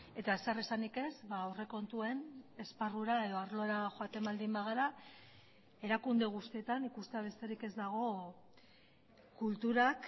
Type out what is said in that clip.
eta zer esanik ez aurrekontuen esparrura edo arlora joaten baldin bagara erakunde guztietan ikustea besterik ez dago kulturak